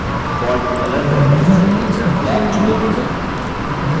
font color dropdown से black चुनें